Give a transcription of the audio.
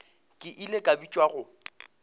ke ile ka bitšwa go